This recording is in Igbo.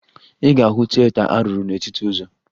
Ị ga-ahụ tieta a rụrụ n'etiti ụzọ